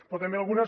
però també algunes